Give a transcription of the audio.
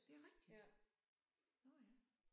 Det rigtigt. Nåh ja